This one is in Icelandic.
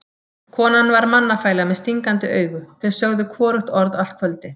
Konan var mannafæla með stingandi augu, þau sögðu hvorugt orð allt kvöldið.